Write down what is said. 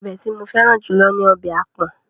Ọbẹ̀ tí mo fẹ́ràn jù lọ ní ọbẹ̀ àpọ̀n.